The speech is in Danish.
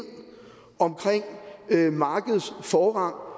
omkring markedets forrang og